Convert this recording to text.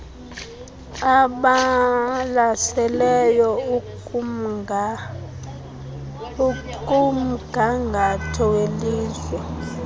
ebalaseleyo ekumgangatho welizwe